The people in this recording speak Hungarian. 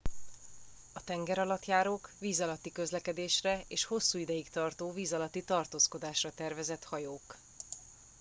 a tengeralattjárók víz alatti közlekedésre és hosszú ideig tartó víz alatti tartózkodásra tervezett hajók